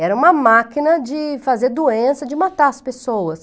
Era uma máquina de fazer doença, de matar as pessoas.